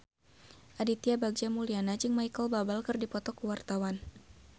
Aditya Bagja Mulyana jeung Micheal Bubble keur dipoto ku wartawan